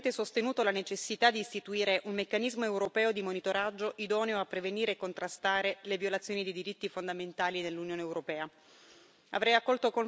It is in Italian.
Già in passato avevo fortemente sostenuto la necessità di istituire un meccanismo europeo di monitoraggio, idoneo a prevenire e contrastare le violazioni dei diritti fondamentali dell'Unione europea.